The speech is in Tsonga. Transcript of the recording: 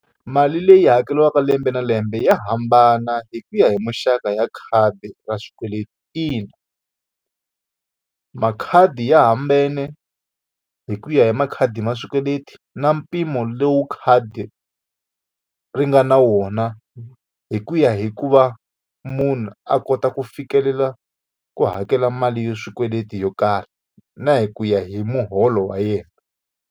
Mali leyi hakeriwaka lembe na lembe ya hambana hi ku ya hi muxaka ya khadi ra xikweleti ina. Makhadi ya hambane hi ku ya hi makhadi ma swikweleti na mpimo lowu khadi ri nga na wona hi ku ya hi ku va munhu a kota ku fikelela ku hakela mali yo swikweleti yo karhi, na hi ku ya hi muholo wa yena.